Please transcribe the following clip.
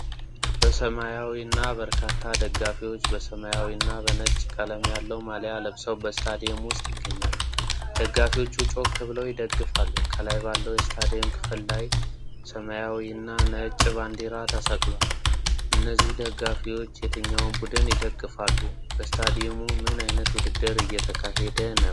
በሰማያዊናበርካታ ደጋፊዎች በሰማያዊና ነጭ ቀለም ያለው ማልያ ለብሰው በስታዲየም ውስጥ ይገኛሉ። ደጋፊዎቹ ጮክ ብለው ይደግፋሉ። ከላይ ባለው የስታዲየም ክፍል ላይ ሰማያዊና ነጭ ባንዲራ ተሰቅሏል። እነዚህ ደጋፊዎች የትኛውን ቡድን ይደግፋሉ? በስታዲየሙ ምን አይነት ውድድር እየተካሄደ ነው?